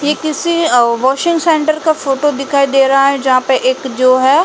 ये किसी washing centre का फोटो दिखाई दे रहा है। जहाँ पे (पर) एक जो है।